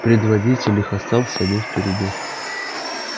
предводитель их остался один впереди